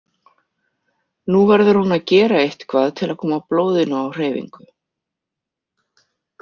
Nú verður hún að gera eitthvað til að koma blóðinu á hreyfingu.